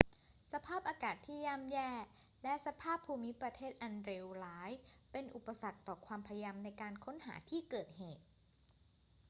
สภาพอากาศที่ย่ำแย่และสภาพภูมิประเทศอันเลวร้ายเป็นอุปสรรคต่อความพยายามในการค้นหาที่เกิดเหตุ